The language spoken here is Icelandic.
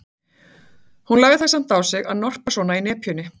Hún lagði það samt á sig að norpa svona í nepjunni.